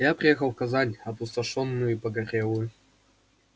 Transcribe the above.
я приехал в казань опустошённую и погорелую